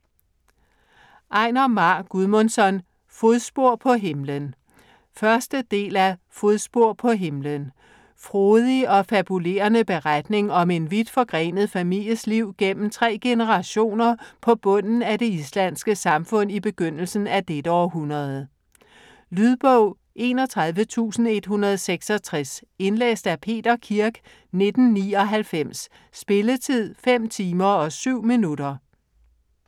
Einar Már Guðmundsson: Fodspor på himlen 1. del af Fodspor på himlen. Frodig og fabulerende beretning om en vidt forgrenet families liv gennem tre generationer på bunden af det islandske samfund i begyndelsen af dette århundrede. Lydbog 31166 Indlæst af Peter Kirk, 1999. Spilletid: 5 timer, 7 minutter.